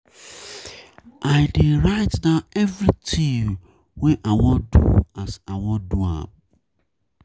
I dey write down everytin wey I wan do as I wan do am.